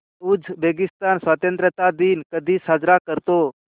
Uzbekistan स्वतंत्रता दिन कधी साजरा करतो